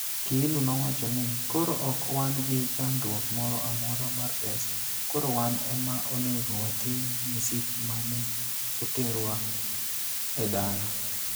Kiilu nowachoni, "Koro ok wan gi chandruok moro amora mar pesa, koro wan ema onego wating' msip ma ne oterwa e dala".